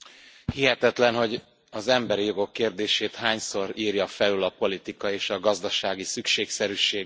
Hihetetlen, hogy az emberi jogok kérdését hányszor írja felül a politika és a gazdasági szükségszerűség.